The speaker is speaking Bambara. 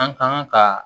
An kan ka